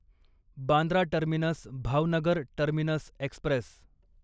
Bandra terminus Bhavnagar terminus Express